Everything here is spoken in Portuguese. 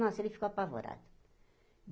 Nossa, ele ficou apavorado.